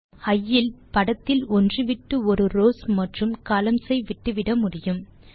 நாம் இ இல் படத்தில் ஒன்று விட்டு ஒரு ரவ்ஸ் மற்றும் கொலம்ன்ஸ் ஐ விட்டுவிட முடியும்